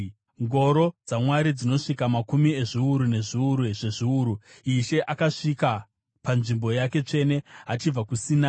Ngoro dzaMwari dzinosvika makumi ezviuru nezviuru zvezviuru; Ishe akasvika panzvimbo yake tsvene achibva kuSinai.